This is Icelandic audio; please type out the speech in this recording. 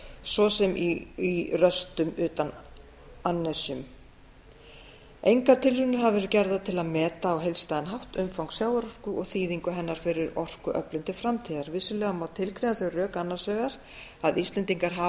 svo sem í röstum utan annesjum engar tilraunir hafa verið gerðar til að meta á heildstæðan hátt umfang sjávarorku og þýðingu hennar fyrir orkuöflun til framtíðar vissulega má tilgreina þau rök annars vegar að íslendingar hafa